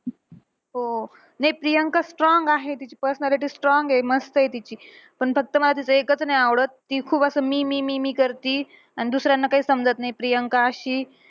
हो. नाही प्रियंका strong आहे. तिची personality strong आहे मस्तंय तिची. पण फक्त मला तिचं एकच नाही आवडत. ती खूप असं मी मी मी मी करती आणि दुसऱ्यांना काही समजत नाही प्रियंका अशी.